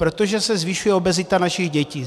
Protože se zvyšuje obezita našich dětí.